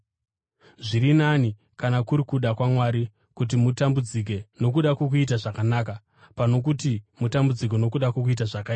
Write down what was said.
Zviri nani, kana kuri kuda kwaMwari, kuti mutambudzike nokuda kwokuita zvakanaka pano kuti mutambudzike nokuda kwokuita zvakaipa.